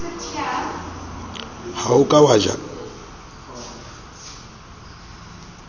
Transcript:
ha o ka wa ja